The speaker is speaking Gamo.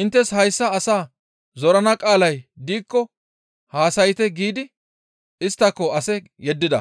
Inttes hayssa asaa zorana qaalay diikko haasayte» giidi isttako ase yeddida.